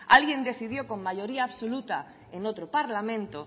alguien decidió con mayoría absoluta en otro parlamento